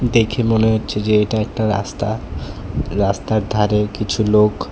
দেখে মনে হচ্ছে যে এটা একটা রাস্তা রাস্তার ধারে কিছু লোক।